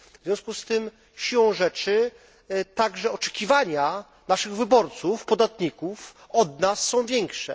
W związku z tym, siłą rzeczy, także oczekiwania naszych wyborców, podatników w stosunku do nas są większe.